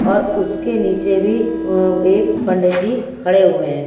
और उसके नीचे भी अ एक पंडित जी खड़े हुए हैं।